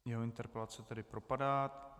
Jeho interpelace tedy propadá.